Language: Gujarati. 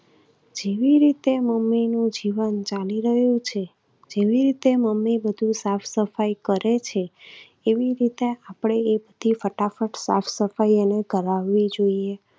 જેવી રીતે મમ્મીનું જીવન ચાલી રહ્યું છે, જેવી રીતે મમ્મી બધું સાફસફાઈ કરે છે એવી રીતે આપણે એકથી ફટાફટ સાફસફાઈ એની કરાવવી જોઈએ.